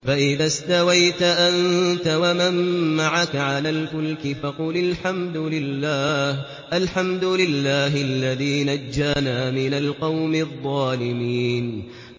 فَإِذَا اسْتَوَيْتَ أَنتَ وَمَن مَّعَكَ عَلَى الْفُلْكِ فَقُلِ الْحَمْدُ لِلَّهِ الَّذِي نَجَّانَا مِنَ الْقَوْمِ الظَّالِمِينَ